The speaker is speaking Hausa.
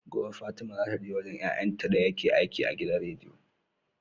Gobe fatima zata je wajan yayan ta dayake aiki a gidan rediyo